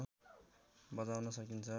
बजाउन सकिन्छ